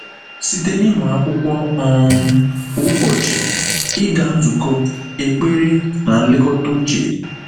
Site n’ịmụ akwụkwọ um kwa ụbọchị, ịga nzukọ, ekpere, na nlekọta uche.